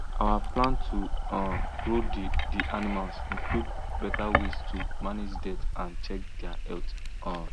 our plan to um grow the the animals include better way to manage dirt and check their health um